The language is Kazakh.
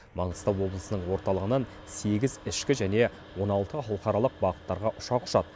маңғыстау облысының орталығынан сегіз ішкі және он алты халықаралық бағыттарға ұшақ ұшады